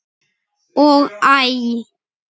og Æ!